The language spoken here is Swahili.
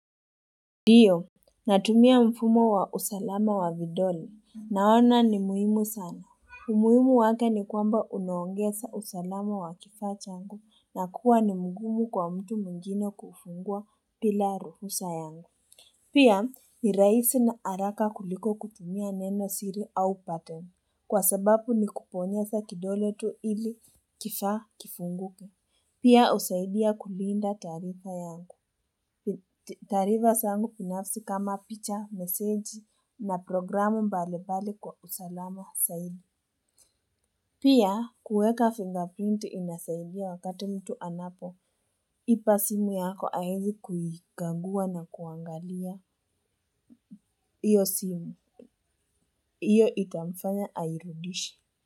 Ndiyo, natumia mfumo wa usalama wa vidole. Naona ni muhimu sana. Umuhimu wake ni kwamba unaongesa usalama wa kifaa changu na kuwa ni mgumu kwa mtu mwingine kufungua pila ruhusa yangu. Pia ni rahisi na haraka kuliko kupumia neno siri au pattern. Kwa sababu ni kubonyeza kidole tu ili kifaa kifunguke. Pia husaidia kulinda taarifa yangu. Taarifa sangu binafsi kama picha, meseji na programu mbalimbali kwa usalama zaidi. Pia kuweka fingerprint inasaidia wakati mtu anapo. Iba simu yako aizi kuhigangua na kuangalia. Iyo simu. Iyo itamfanya airudishe.